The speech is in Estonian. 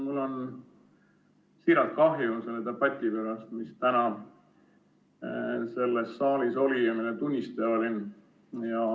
Mul on siiralt kahju selle debati pärast, mis täna selles saalis oli ja mille tunnistaja ma olin.